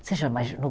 Você já imaginou?